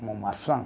Como maçã.